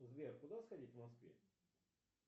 сбер куда сходить в москве